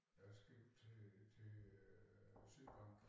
Jeg skrev til til øh Sydbank